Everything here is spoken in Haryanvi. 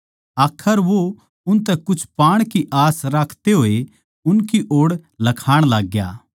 आखर वो उनतै कुछ पाण की आस राखते होए उनकी ओड़ लखाण लाग्या